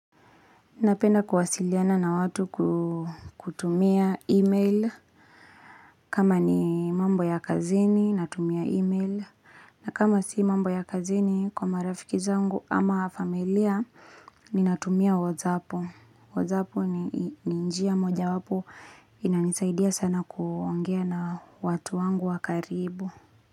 Napenda kuwasiliana na watu kutumia e-mail kama ni mambo ya kazini natumia e-mail na kama si mambo ya kazini kwa marafiki zangu ama familia Ninatumia wozapu wozapu ni njia moja wapo inanisaidia sana kuongea na watu wangu wakaribu.